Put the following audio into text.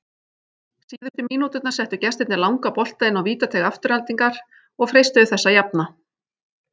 Síðustu mínúturnar settu gestirnir langa bolta inn á vítateig Aftureldingar og freistuðu þess að jafna.